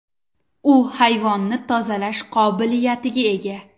U havoni tozalash qobiliyatiga ega.